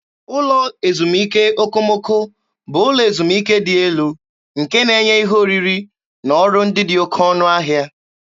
Ụlọ ezumike okomoko bụ ụlọ ezumike dị elu nke na-enye ihe oriri na ọrụ ndị dị oké ọnụ ahịa.